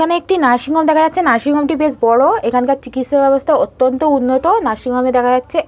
এখানে একটি নার্সিংহোম দেখা যাচ্ছে নার্সিংহোম টি বেশ বড় এখানকার চিকিৎসা ব্যবস্থা অত্যন্ত উন্নত নার্সিংহোম -এ দেখা যাচ্ছে--